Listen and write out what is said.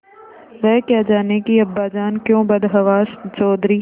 वह क्या जानें कि अब्बाजान क्यों बदहवास चौधरी